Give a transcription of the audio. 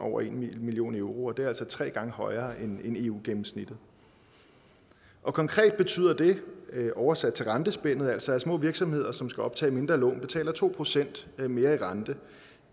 over en million euro og det er altså tre gange højere end eu gennemsnittet konkret betyder det oversat til rentespændet altså at små virksomheder som skal optage mindre lån betaler to procent mere i rente